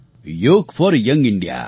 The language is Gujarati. યોગ ફૉર યંગ ઇન્ડિયા